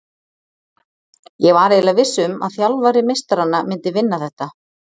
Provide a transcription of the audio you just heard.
Ég var eiginlega viss um að þjálfari meistaranna myndi vinna þetta,